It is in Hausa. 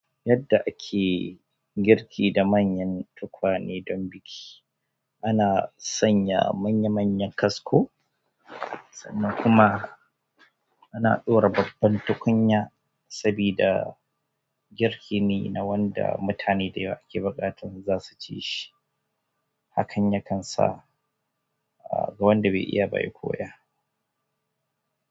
Yadda ake girki da manyan tukwane don biki, ana sanya manya-manyan kasko sannan kuma ana ɗora babban tukunya sabida girki ne na wanda mutane da yawa ke buƙatar za su ci shi. Hakan yakan sa, ah, ga wanda bai iya ba ya koya.